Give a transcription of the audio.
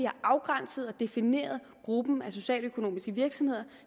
afgrænset og defineret gruppen af socialøkonomiske virksomheder